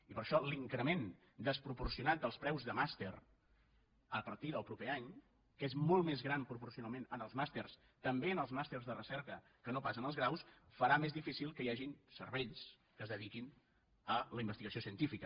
i per això l’increment desproporcionat dels preus de màster a partir del proper any que és molt més gran proporcionalment en els màsters també en els màsters de recerca que no pas en els graus farà més difícil que hi hagin cervells que es dediquin a la investigació científica